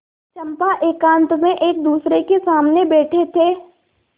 चंपा एकांत में एकदूसरे के सामने बैठे थे